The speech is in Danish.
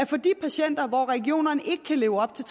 for de patienter over regionerne ikke kan leve op til